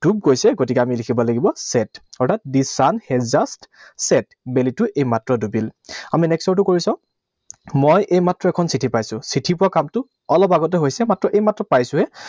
ডুব গৈছে, গতিকে আমি লিখিব লাগিব set, অৰ্থাৎ the sun has just set, বেলিটো এইমাত্ৰ ডুবিল। আমি next ৰটো কৰি চাওঁ। মই এইমাত্ৰ এখন চিঠি পাইছো। চিঠি পোৱা কামটো অলপ আগতে হৈছে। মাত্ৰ এইমাত্ৰ পাইছোহে।